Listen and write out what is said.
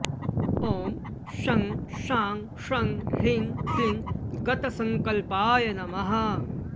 ॐ शं शां षं ह्रीं क्लीं गतसङ्कल्पाय नमः